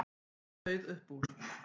Við það sauð upp úr.